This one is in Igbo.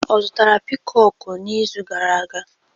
Ọ zụtara piikoku n'izu gara aga?